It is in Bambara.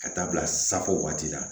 Ka taa bila safo waati la